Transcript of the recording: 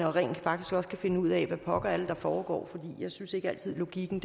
og rent faktisk også kan finde ud af hvad pokker det er der foregår for jeg synes ikke altid logikken